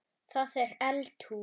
Það er eldhús.